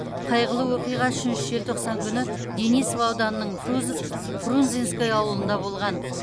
қайғылы оқиға үшінші желтоқсан күні денисов ауданының фрунзенское ауылында болған